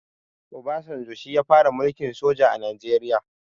Obasanjo shi ya fara mulkin soja a najeriya